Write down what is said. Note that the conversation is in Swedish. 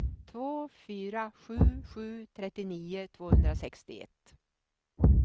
två fyra sju sju trettionio tvåhundrasextioett